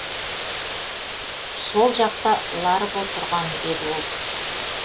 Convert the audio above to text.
сол жақта ларбо тұрған деді ол